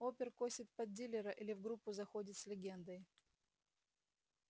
опер косит под дилера или в группу заходит с легендой